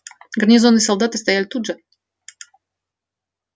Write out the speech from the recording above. гарнизонные солдаты стоят тут же